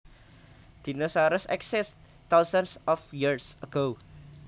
Dinosaurs existed thousands of years ago